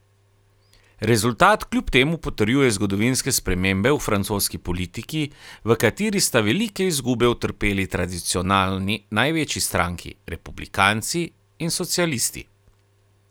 Rezultat kljub temu potrjuje zgodovinske spremembe v francoski politiki, v kateri sta velike izgube utrpeli tradicionalni največji stranki, Republikanci in socialisti.